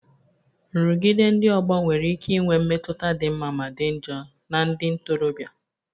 Nrụgide ndị ọgbọ nwere ike inwe mmetụta dị mma ma dị njọ na ndị ntorobịa